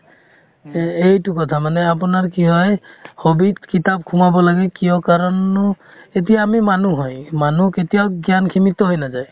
এই~ এইটো কথা মানে আপোনাৰ কি হয় hobby ত কিতাপ সোমাব লাগে কিয় কাৰণনো এতিয়া আমি মানুহ হয় মানুহ কেতিয়াও জ্ঞানখিনি থৈ নাযায়